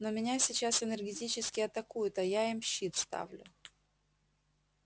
но меня сейчас энергетически атакуют а я им щит ставлю